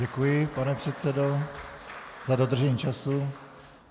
Děkuji, pane předsedo, za dodržení času.